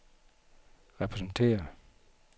repræsenterer